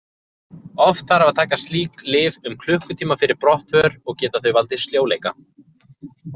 Oft þarf að taka slík lyf um klukkutíma fyrir brottför og geta þau valdið sljóleika.